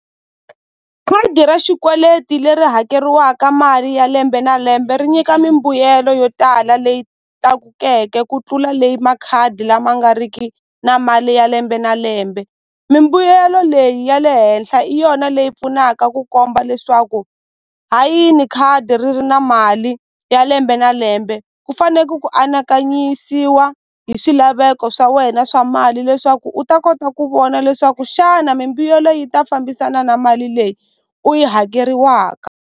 Khadi ra xikweleti leri hakeriwaka mali ya lembe na lembe ri nyika mimbuyelo yo tala leyi tlakukeke ku tlula leyi makhadi lama nga riki na mali ya lembe na lembe mimbuyelo leyi ya le henhla i yona leyi pfunaka ku komba leswaku hayini khadi ri ri na mali ya lembe na lembe ku faneke ku anakanyisiwa hi swilaveko swa wena swa mali leswaku u ta kota ku vona leswaku xana mimbuyelo yi ta fambisana na mali leyi u yi hakeriwaka.